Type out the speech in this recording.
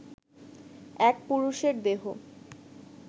এক পুরুষের দেহ